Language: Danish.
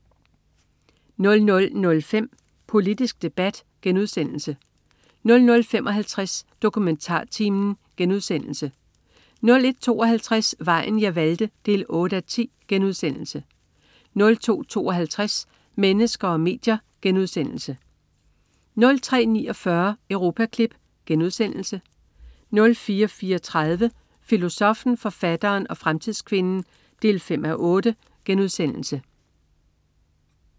00.05 Politisk debat* 00.55 DokumentarTimen* 01.52 Vejen jeg valgte 8:10* 02.52 Mennesker og medier* 03.49 Europaklip* 04.34 Filosoffen, forfatteren og fremtidskvinden 5:8*